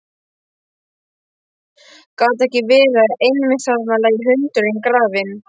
Gat ekki verið að einmitt þarna lægi hundurinn grafinn?